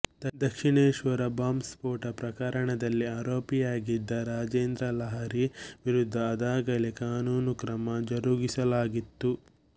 Dakshineswar bomb ಸ್ಫೋಟ ಪ್ರಕರಣದಲ್ಲಿ ಆರೋಪಿಯಾಗಿದ್ದ ರಾಜೇಂದ್ರ ಲಾಹಿರಿ ವಿರುದ್ಧ ಅದಾಗಲೇ ಕಾನೂನು ಕ್ರಮ ಜರುಗಿಸಲಾಗಿತ್ತು